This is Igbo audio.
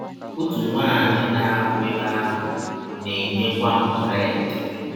Ọtụ nwaanyị na - arụ ebe ahụ na - enyekwa m bred.